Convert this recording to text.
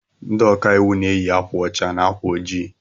Ndị ọkàiwu na eyi akwa ọcha na ákwà ojii